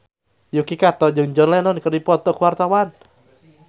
Yuki Kato jeung John Lennon keur dipoto ku wartawan